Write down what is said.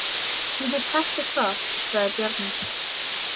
Ég get sagt þér það, sagði Bjarni.